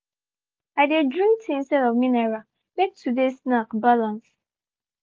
i dey drink tea instead of mineral make today snack balance.